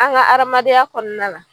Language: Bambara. An ŋa hadamadenya kɔɔna la